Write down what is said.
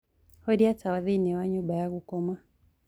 horĩa tawa thĩĩni wa nyumba ya gũkoma